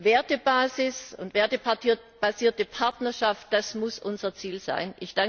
Wertebasis und wertebasierte Partnerschaft, das muss unser Ziel sein.